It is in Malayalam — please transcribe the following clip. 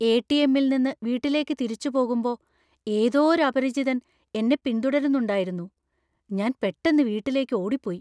എ.ടി.എം.ൽ നിന്ന് വീട്ടിലേക്ക് തിരിച്ചു പോകുമ്പോ ഏതോ ഒരു അപരിചിതൻ എന്നെ പിന്തുടരുന്നുണ്ടായിരുന്നു, ഞാൻ പെട്ടന്ന് വീട്ടിലേക്കു ഓടിപ്പോയി .